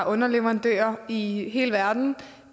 underleverandører i hele verden